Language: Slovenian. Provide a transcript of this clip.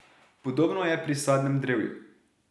Podobno je pri sadnem drevju.